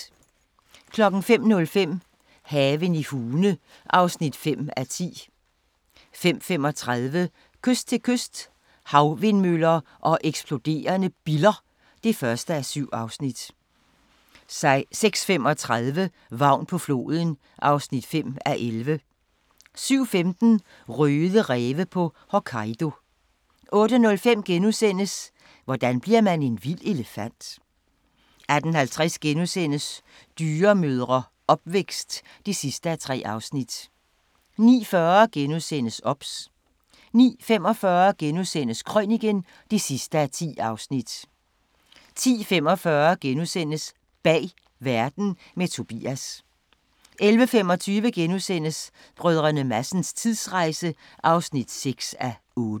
05:05: Haven i Hune (5:10) 05:35: Kyst til kyst – Havvindmøller og eksploderende biller (1:7) 06:35: Vagn på floden (5:11) 07:15: Røde ræve på Hokkaido 08:05: Hvordan bliver man en vild elefant? * 08:50: Dyremødre - opvækst (3:3)* 09:40: OBS * 09:45: Krøniken (10:10)* 10:45: Bag Verden – med Tobias (3:6)* 11:25: Brdr. Madsens tidsrejse (6:8)*